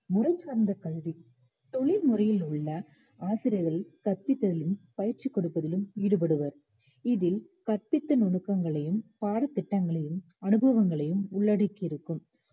முறைசார்ந்த கல்வி தொழில்முறையில் உள்ள ஆசிரியர்கள் கற்பித்தலிலும், பயிற்சி கொடுப்பதிலும் ஈடுபடுவர் இதில் கற்பித்தல் நுணுக்கங்களையும் பாடத் திட்டங்களையும் அனுபவங்களையும் உள்ளடக்கியிருக்கும்